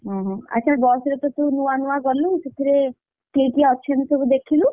ଓହୋ ଆଚ୍ଛା ବସରେ ତ ତୁ ନୂଆ ନୂଆ ଗଲୁ, ସେଥିରେ କିଏ କିଏ ଅଛନ୍ତି ସବୁ ଦେଖିଲୁ?